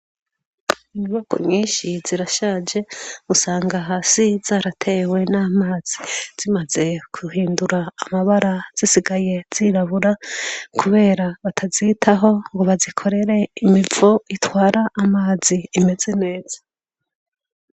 Inyubakwa nyinshi zirashaje. Usanga hasi zaratewe n'amazi zimaze guhindura amabara, zisigaye zirabura kubera batazitaho ngo bazikorere imivo itwara amazi imeze neza.